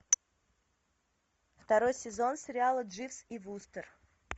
второй сезон сериала дживс и вустер